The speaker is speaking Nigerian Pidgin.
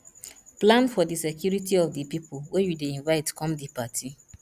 plan for di security of di pipo wey you dey invite come di party